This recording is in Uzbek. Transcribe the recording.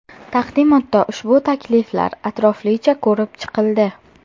Taqdimotda ushbu takliflar atroflicha ko‘rib chiqildi.